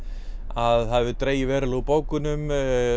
að það hefur dregið verulega úr bókunum